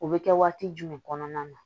O bɛ kɛ waati jumɛn kɔnɔna na